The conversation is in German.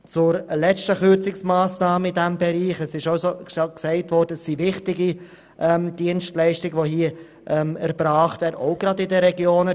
Zur letzten Kürzungsmassnahme in diesem Bereich: Es ist schon erwähnt worden, dass hier wichtige Dienstleistungen erbracht werden, gerade auch in den Regionen.